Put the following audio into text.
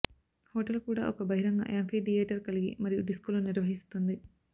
hotel కూడా ఒక బహిరంగ యాంఫీథియేటర్ కలిగి మరియు డిస్కోలు నిర్వహిస్తుంది